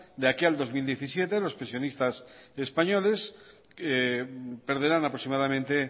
de aquí al dos mil diecisiete perderán aproximadamente